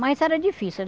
Mas era difícil.